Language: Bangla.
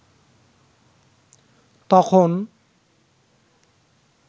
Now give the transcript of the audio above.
তখন